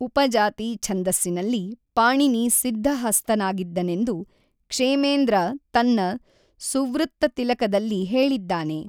ಉಪಜಾತಿ ಛಂದಸ್ಸಿನಲ್ಲಿ ಪಾಣಿನಿ ಸಿದ್ಧಹಸ್ತನಾಗಿದ್ದನೆಂದು ಕ್ಷೇಮೇಂದ್ರ ತನ್ನ ಸುವೃತ್ತತಿಲಕದಲ್ಲಿ ಹೇಳಿದ್ದಾನೆ.